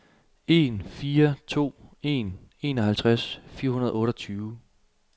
en fire to en enoghalvtreds fire hundrede og otteogtyve